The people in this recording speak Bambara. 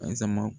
Azan